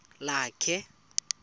lakhe